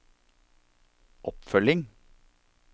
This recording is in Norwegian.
oppfølging